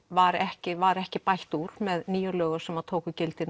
var ekki var ekki bætt úr með nýjum lögum sem tóku gildi